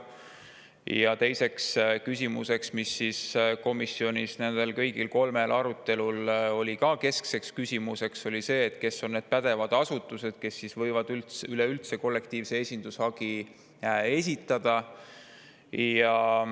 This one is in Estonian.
Ja teine küsimus, mis oli keskseks küsimuseks kõigil kolmel komisjoni arutelul, oli see, et kes on need pädevad asutused, kes üleüldse võivad kollektiivse esindushagi esitada.